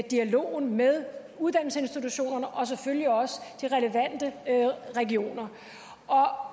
dialogen med uddannelsesinstitutionerne og selvfølgelig også de relevante regioner